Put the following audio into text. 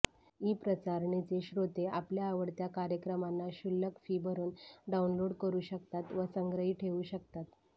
ईप्रसारणचे श्रोते आपल्या आवडत्या कार्यक्रमांना क्षुल्लक फी भरून डाऊनलोड करू शकतात व संग्रही ठेवू शकतात